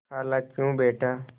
खालाक्यों बेटा